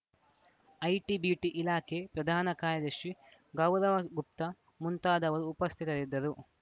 IT BT ಇಲಾಖೆ ಪ್ರಧಾನ ಕಾರ್ಯದರ್ಶಿ ಗೌರವ ಗುಪ್ತಾ ಮುಂತಾದವರು ಉಪಸ್ಥಿತರಿದ್ದರು